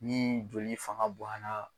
Ni joli fanga boyan na